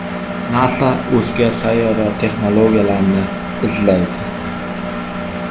NASA o‘zga sayyora texnologiyalarini izlaydi.